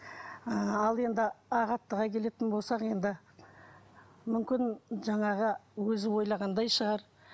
ыыы ал енді ақ аттыға келетін болсақ енді мүмкін жаңағы өзі ойлағандай шығар